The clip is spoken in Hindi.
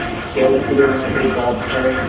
क्या स्त्री होना कोई पाप है